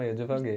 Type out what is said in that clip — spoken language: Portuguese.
Aí eu divaguei.